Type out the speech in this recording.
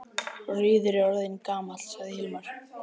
Rauður er orðinn gamall, sagði Hilmar.